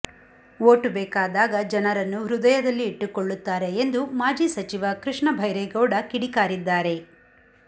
vote ಬೇಕಾದಾಗ ಜನರನ್ನು ಹೃದಯದಲ್ಲಿ ಇಟ್ಟುಕೊಳ್ಳುತ್ತಾರೆ ಎಂದು ಮಾಜಿ ಸಚಿವ ಕೃಷ್ಣ ಭೈರೇಗೌಡ ಕಿಡಿಕಾರಿದ್ದಾರೆ